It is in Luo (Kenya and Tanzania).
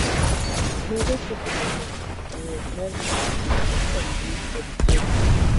Medo keto joot e ng’wech mar rito gik moko e mbui kod kwedo.